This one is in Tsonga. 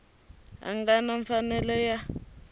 a nga na mfanelo ya